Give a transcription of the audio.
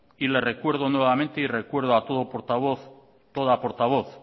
y le recuerdo nuevamente y recuerdo a todo portavoz toda portavoz